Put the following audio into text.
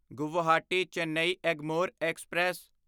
Guwahati Chennai Egmore express